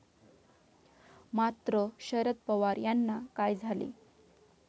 मात्र, शरद पवार यांना काय झाले?